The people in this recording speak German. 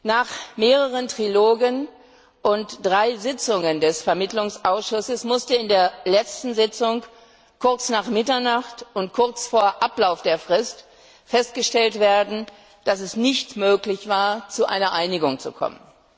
Nach mehreren Trilogen und drei Sitzungen des Vermittlungsausschusses musste in der letzten Sitzung kurz nach Mitternacht und kurz vor Ablauf der Frist festgestellt werden, dass es nicht möglich war, zu einer Einigung zu kommen.